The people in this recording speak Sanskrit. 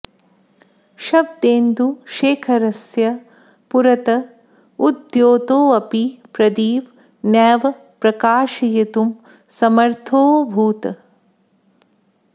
शब्देन्दु शेखरस्य पुरत उद्द्योतोऽपि प्रदीप नैव प्रकाशयितुं समर्थोऽभूत्